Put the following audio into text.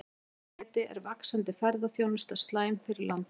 Að þessu leyti er vaxandi ferðaþjónusta slæm fyrir landið.